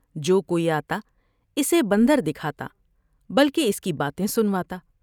جو کوئی آ تا اسے بندر دکھا تا بلکہ اس کی باتیں سنوا تا ۔